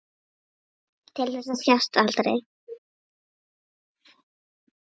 Til þess að sjást aldrei.